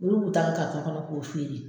Olu bi ta karitɔn kɔnɔ k'u feere